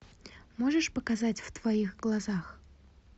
можешь показать в твоих глазах